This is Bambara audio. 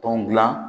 Tɔn gilan